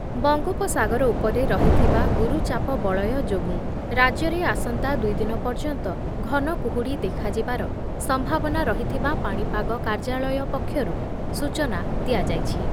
ବଙ୍ଗୋପସାଗର ଉପରେ ରହିଥିବା ଗୁରୁଚାପ ବଳୟ ଯୋଗୁଁ ରାଜ୍ୟରେ ଆସନ୍ତା ଦୁଇ ଦିନ ପର୍ଯ୍ୟନ୍ତ ଘନକୁହୁଡ଼ି ଦେଖାଯିବାର ସମ୍ଭାବନା ରହିଥିବା ପାଣିପାଗ କାର୍ଯ୍ୟାଳୟ ପକ୍ଷରୁ ସୂଚନା ଦିଆଯାଇଛି।